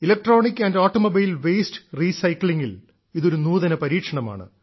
electronic and automobile waste റീസൈക്ലിംഗിൽ ഇതൊരു നൂതന പരീക്ഷണമാണ്